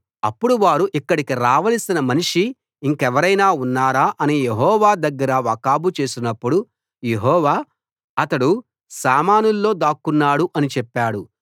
అప్పుడు వారు ఇక్కడికి రావలసి మనిషి ఇంకెవరైనా ఉన్నారా అని యెహోవా దగ్గర వాకబు చేసినప్పుడు యెహోవా అతడు సామానుల్లో దాక్కున్నాడు అని చెప్పాడు